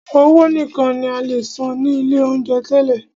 Owó nìkan ní a lè san ní ilé oúnjẹ tẹ́lẹ̀.